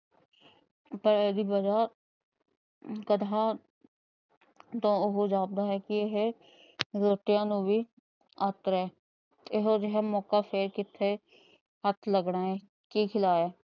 ਤਾਂ ਇਹਦੀ ਵਜਾ ਤਾਂ ਉਹ ਜਾਣਦਾ ਇਹ ਕਿ ਇਹ ਇਹੋ ਜਿਹਾ ਮੋਕਾ ਫ਼ੇਰ ਕਿਤੇ ਹੱਥ ਲੱਗਣਾ ਹੈ। ਕੀ ਸਲਾਹ ਹੈ।